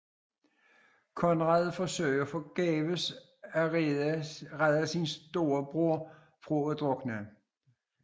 Conrad forsøger forgæves at rede sin storebror fra at drukne